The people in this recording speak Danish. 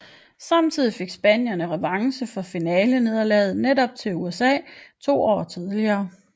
Samtidig fik spanierne revanche for finalenederlaget til netop USA to år tidligere